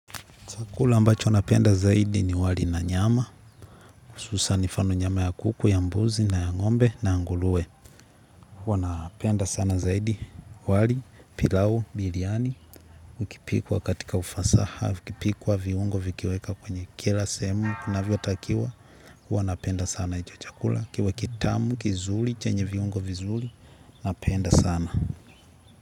Chakula ambacho napenda zaidi ni wali na nyama. Hususan nifano nyama ya kuku, ya mbuzi na ya ng'ombe na ya ngulue. Huwa napenda sana zaidi wali, pilau, biliani. Ukipikwa katika ufasaha, ukipikwa viungo vikiweka kwenye kila sehemu inavyotakiwa huwa napenda sana icho chakula kiwe kitamu, kizuli, chenye viungo vizuli, napenda sana.